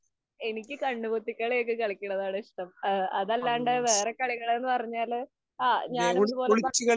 എനിക്ക് കണ്ണുപൊത്തിക്കളിയൊക്കെ കളിക്കുന്നതാണിഷ്ടം. അതല്ലാണ്ട് വേറെ കളികളെന്നു പറഞ്ഞാല്. ഞാനും ഇതുപോലെ